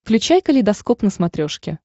включай калейдоскоп на смотрешке